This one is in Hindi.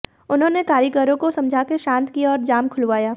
उन्होंने कारीगरों को समझाकर शांत किया और जाम खुलवाया